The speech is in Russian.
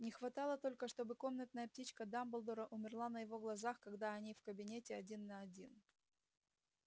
не хватало только чтобы комнатная птичка дамблдора умерла на его глазах когда они в кабинете один на один